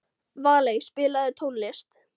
Valey, spilaðu tónlist.